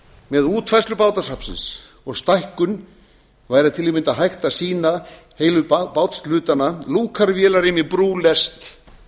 með útfærslu bátasafnsins og stækkun væri til að mynda hægt að sýna heilu bátshlutana lúkar vélarrými brú lest